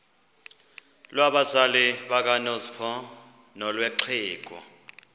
lwabazali bakanozpho nolwexhego